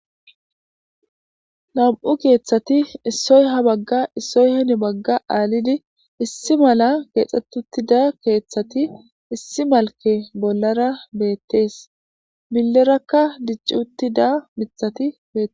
Nam7u keeththati issoy ha bagga issoy heni bagga aalidi issi mala keexxetutida keeththati issi malke bollara beettees millerakka dicci uttida mithati bethess.